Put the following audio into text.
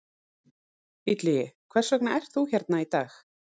Illugi, hvers vegna ert þú hérna í dag?